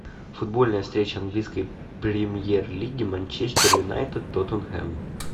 футбольная встреча английской премьер лиги манчестер юнайтед тоттенхэм